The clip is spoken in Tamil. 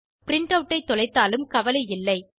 பிரின்ட் ஆட் ஐ தொலைத்தாலும் கவலை இல்லை